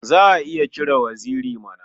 Za a iya cire waziri mana.